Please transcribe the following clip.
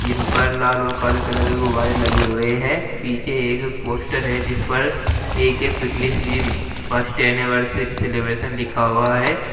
इनपर लाल और काले कलर के गुब्बारे लगे हुए हैं पीछे एक पोस्टर है जिस पर A K fitness gym first anniversary celebration लिखा हुआ है।